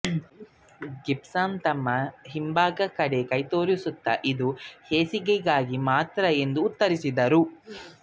Gibson ತಮ್ಮ ಹಿಂಭಾಗದ ಕಡೆ ಕೈತೋರಿಸುತ್ತಾ ಇದು ಹೇಸಿಗೆಗೆ ಮಾತ್ರ ಎಂದು ಉತ್ತರಿಸಿದರು